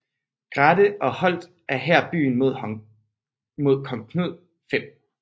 Grathe og holdt her byen mod kong Knud 5